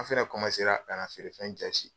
An' fɛnɛ ra kana feerefɛn jaasi.